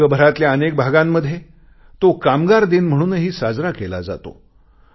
जगभरातल्या अनेक भागांमध्ये तो कामगार दिन म्हणूनही साजरा केला जातो